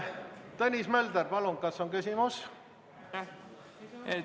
Tõnis Mölder, palun, kas on küsimus?